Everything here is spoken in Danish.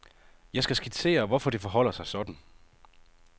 Jeg skal skitsere, hvorfor det forholder sig sådan.